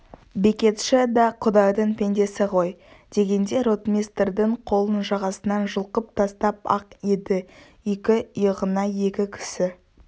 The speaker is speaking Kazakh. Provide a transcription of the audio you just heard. бекетші да құдайдың пендесі ғой дегенде ротмистрдің қолын жағасынан жұлқып тастап-ақ еді екі иығына екі кісі